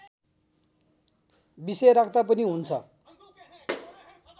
विषय राख्दा पनि हुन्छ